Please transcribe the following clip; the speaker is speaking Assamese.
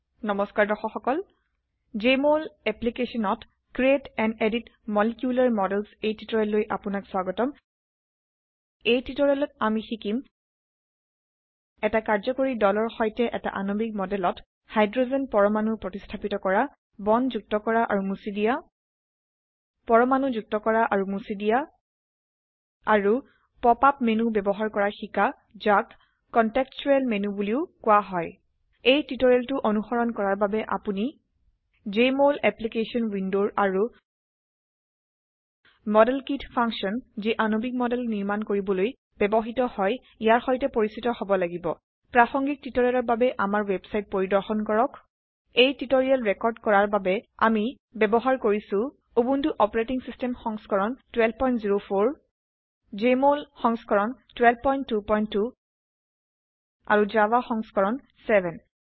নমস্কাৰ দৰ্শক সকলJmol এপলিকেছনত ক্ৰিএট এণ্ড এডিট মলিকিউলাৰ modelsএই টিউটোৰিয়েললৈ আপোনাক স্বাগতম এই টিউটোৰিয়েলত আমি শিকিম এটা কাৰ্যকৰী দলৰ সৈতে এটা আণবিক মডেলত হাইড্ৰোজেন পৰমাণু প্ৰতিস্থাপিত কৰা বন্ড যুক্ত কৰা আৰু মুছি দিয়া পৰমাণু যুক্ত কৰা আৰু মুছি দিয়া আৰু পপ আপ মেনু ব্যবহাৰ কৰা শিকা যাক কনটেক্সটোৱেল মেনু বোলিও কোৱা হয় এই টিউটোৰিয়েলটো অনুসৰণ কৰাৰ বাবে আপোনি জেএমঅল অ্যাপ্লিকেশন উইন্ডোৰ আৰু মডেলকিত ফাংশনযিআণবিক মডেল নিৰ্মাণ কৰিবলৈ ব্যবহৃত হয় ইয়াৰ সৈতে পৰিচিত হব লাগিব প্ৰাসঙ্গিক টিউটোৰিয়েলৰ বাবে আমাৰ ওয়েবসাইট পৰিদৰ্শন কৰক এই টিউটোৰিয়েল ৰেকৰ্ড কৰাৰ বাবে আমি ব্যবহাৰ কৰিছো উবুন্টু অচ সংস্কৰণ 1204 জেএমঅল সংস্কৰণ 1222 আৰু জাভা সংস্কৰণ 7